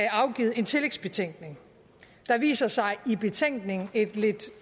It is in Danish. afgivet en tillægsbetænkning der viser sig i betænkningen et lidt